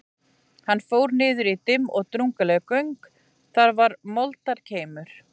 Hann fór niður í dimm og drungaleg göng, þar var moldarkeimur.